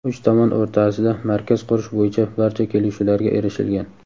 Uch tomon o‘rtasida markaz qurish bo‘yicha barcha kelishuvlarga erishilgan.